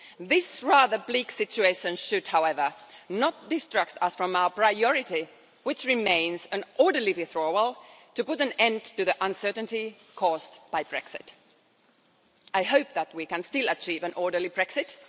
This rather bleak situation should, however, not distract us from our priority, which remains an orderly withdrawal to put an end to the uncertainty caused by Brexit. I hope that we can still achieve an orderly Brexit.